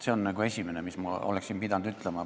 See on esimene asi, mis ma oleksin pidanud ütlema.